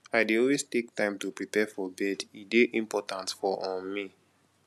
i dey always take time to prepare for bed e dey important for um me